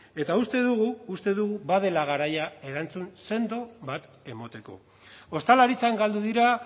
eta uste dugu badela garaia erantzun sendo bat emateko ostalaritzan galdu dira